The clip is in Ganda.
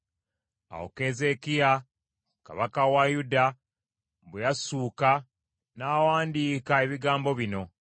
Awo Keezeekiya Kabaka wa Yuda bwe yassuuka, n’awandiika ebigambo bino;